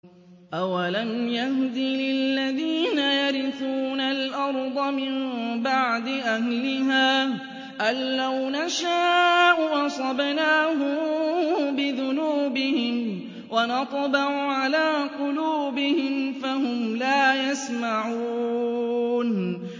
أَوَلَمْ يَهْدِ لِلَّذِينَ يَرِثُونَ الْأَرْضَ مِن بَعْدِ أَهْلِهَا أَن لَّوْ نَشَاءُ أَصَبْنَاهُم بِذُنُوبِهِمْ ۚ وَنَطْبَعُ عَلَىٰ قُلُوبِهِمْ فَهُمْ لَا يَسْمَعُونَ